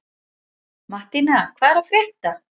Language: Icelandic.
Mattína, hvað er að frétta?